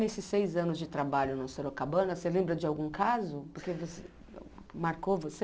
Nesses seis anos de trabalho na Sorocabana, você lembra de algum caso que você marcou você?